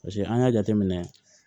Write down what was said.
Paseke an y'a jateminɛ